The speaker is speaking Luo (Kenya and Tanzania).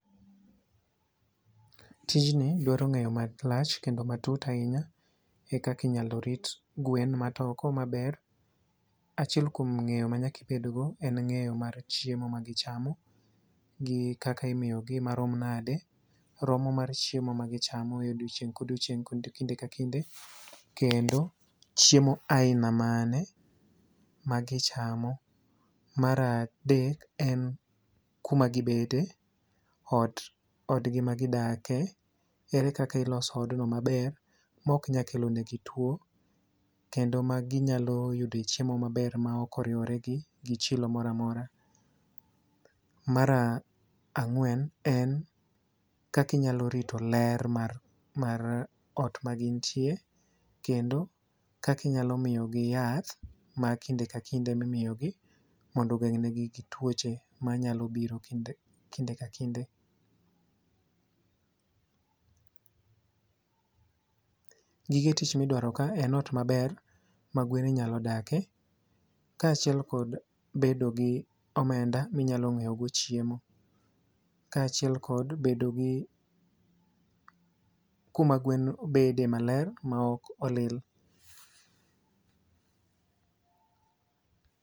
Tij ni dwaro ng'eyo malach kendo matut ahinya e kak inyalo rit gwen matoko maber. Achiel kuom ng'enyo manyakibedgo en ng'eyo mar chiemo magichamo gi kaka imiyogi marom nade. Romo mar chiemo ma gichamo e odiochiek kodiochieng kod kinde ka kinde. Kendo chiemo aina mane magichamo. Mar adek en kuma gibede, ot odgi magidake. Ere kaka iloso odno maber mok nyal kelo ne gi tuo. Kendo maginyalo yude chiemo maber ma ok oriwore gi chilo moro amora. Mar ang'wen, en kakinyalo rito ler mar ot magintie. Kendo kakinyalo miyogi yath ma kinde ka kinde mimiyo gi mondo ogeng' ne gi tuoche manyalo biro kinde ka kinde. Gige tich midwaro ka en ot maber ma gwen nyalo dake. Kachiel kod bedo gi omenda minyalo ng'iew go chiemo. Kachiel kod bedo gi kuma gwen bede maler ma ok olil